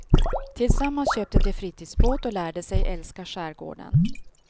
Tillsammans köpte de fritidsbåt och lärde sig älska skärgården.